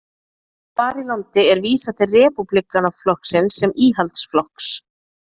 Þar í landi er vísað til Repúblikanaflokksins sem íhaldsflokks.